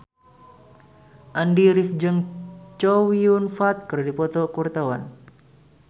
Andy rif jeung Chow Yun Fat keur dipoto ku wartawan